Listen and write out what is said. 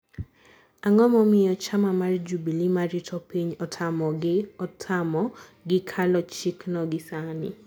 ang`o momiyo chama mar jubille marito piny otamogi otamo gi kalo chik no gi sani.